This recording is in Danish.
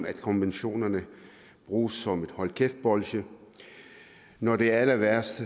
at konventionerne bruges som et hold kæft bolsje og når det er allerværst